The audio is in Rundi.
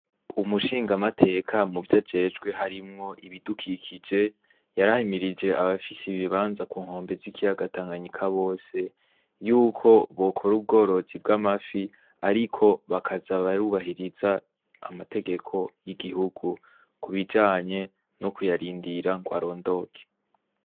Umushingamateka mu vyo ajejwe harimwo ibidukikije, yarahamirije abafise ibibanza ku nkombe z'ikiyagatanganyika bose, yuko bokore ubworotsi bw'amafi, ariko bakaza barubahiriza amategeko y'igihugu kubijanye no kuyarindira ngo arondoke.